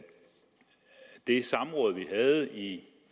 det samråd vi havde i